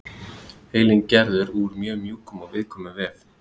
Heilinn er gerður úr mjög mjúkum og viðkvæmum vef.